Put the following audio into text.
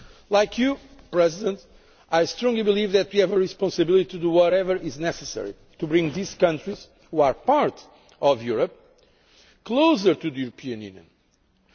Like President Grybauskaitė, I strongly believe that we have a responsibility to do whatever is necessary to bring these countries, which are part of Europe, closer to the European Union.